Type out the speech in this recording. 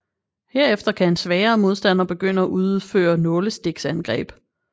Herefter kan en svagere modstander begynde at udføre nålestiksangreb